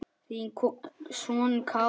Þinn sonur Kári.